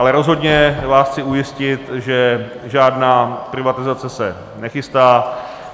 Ale rozhodně vás chci ujistit, že žádná privatizace se nechystá.